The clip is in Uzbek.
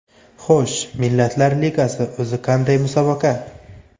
Xo‘sh, Millatlar Ligasi o‘zi qanday musobaqa?